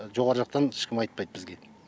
жоғары жақтан ешкім айтпайды бізге